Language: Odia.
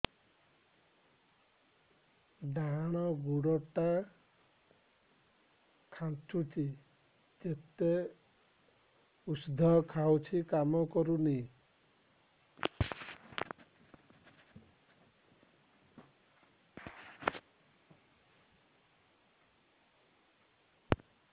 ଡାହାଣ ଗୁଡ଼ ଟା ଖାନ୍ଚୁଚି ଯେତେ ଉଷ୍ଧ ଖାଉଛି କାମ କରୁନି